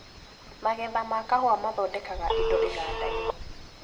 Magetha ma kahũa mathondekaga indo igandainĩ.